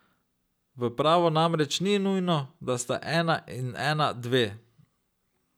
V pravu namreč ni nujno, da sta ena in ena dve.